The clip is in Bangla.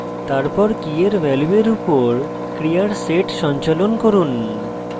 তারপর কীয়ের ভ্যালুয়ের উপর ক্রিয়ার set সঞ্চালন করুন